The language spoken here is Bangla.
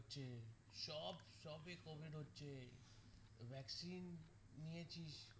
সব shop এ covid হচ্ছে vaccine নিয়েছিস